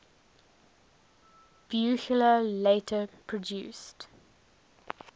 buchla later produced